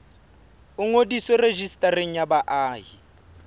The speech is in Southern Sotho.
o ngodiswe rejistareng ya baahi